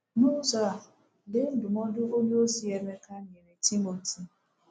N’ụzọ a, lee ndụmọdụ onyeozi Emeka nyere Timoti.